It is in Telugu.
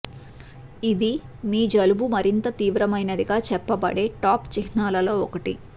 ఇది మీ జలుబు మరింత తీవ్రమైనది గా చెప్పబడే టాప్ చిహ్నాల లో ఒకటి